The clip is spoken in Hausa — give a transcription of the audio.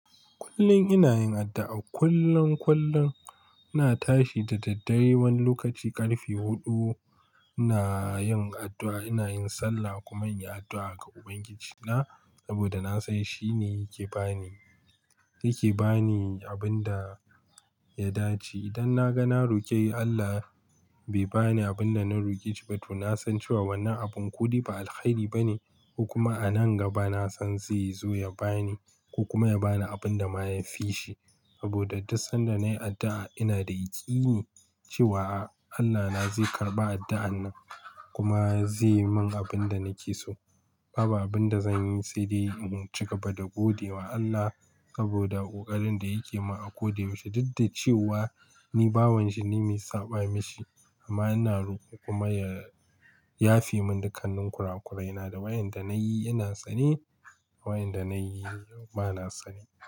Kullum ina yin addu'a. Kullun kullum ina tashi da daddare wani lokaci ƙarfe huɗu ina yin addu'a, ina yin sallah kuma ina addu'a ga Ubangijina saboda na san shi ne yake ba ni, yake ba ni abin da ya dace. Idan na ga na roƙe Allah bai ba ni abin da na roƙe shi ba, to na san cewa wannan abun ko dai ba alheri ba ne ko kuma a nan gaba na san zai zo ya ba ni ko kuma ya ba ni abin da ma ya fi shi. Saboda duk sanda nayi addu'a ina da ikine cewa Allahna zai karɓa addu'an nan kuma zai yi min abin da nake so. Babu abin da zan yi sai dai in cigaba da godewa Allah saboda ƙoƙarin da yake mun a koda yaushe duk da cewa ni bawanshi ne mai saɓa ma shi amma ina roƙonsa kuma ya yafe mun dukkanin kurakurai. Ina da wayanda nayi ina sane wayanda nayi bana sane.